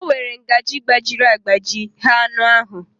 O were ngaji gbajiri agbaji nyee anụ ahụ